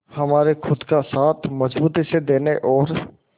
हमारे खुद का साथ मजबूती से देने और